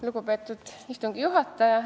Lugupeetud istungi juhataja!